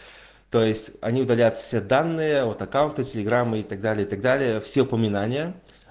то есть они удаляют все данные от аккаунта телеграмма и так далее и так далее все напоминания